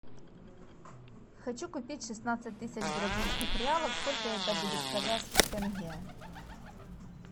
хочу купить шестнадцать тысяч бразильских реалов сколько это будет в казахских тенге